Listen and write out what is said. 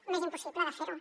m’és impossible de fer ho